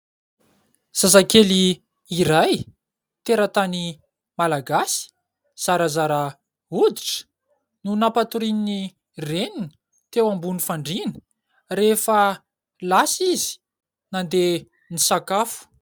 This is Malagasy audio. Zazakely iray tera-tany malagasy, zarazara hoditra no nampatorian'ny reniny teo ambony fandriana rehefa lasa izy nandeha nisakafo.